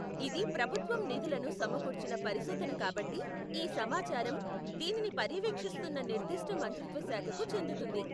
ఇది ప్రభుత్వం నిధులను సమకూర్చిన పరిశోధన కాబట్టి, ఈ సమాచారం దీనిని పర్యవేక్షిస్తున్న నిర్దిష్ట మంత్రిత్వ శాఖకు చెందుతుంది .